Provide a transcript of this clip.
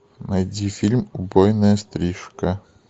найди фильм убойная стрижка